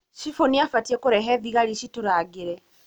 Cibũ nĩabatie kũrehe thigari citũrangĩrĩ.